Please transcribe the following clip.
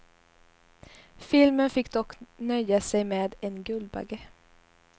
Filmen fick dock nöja sig med en guldbagge.